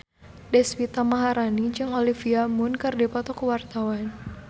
Deswita Maharani jeung Olivia Munn keur dipoto ku wartawan